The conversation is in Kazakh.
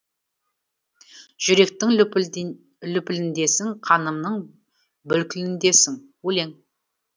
жүректің лүпіліндесің қанымның бүлкіліндесің өлең